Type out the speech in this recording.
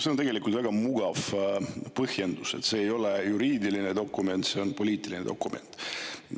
See on tegelikult väga mugav põhjendus, et see ei ole juriidiline dokument, see on poliitiline dokument.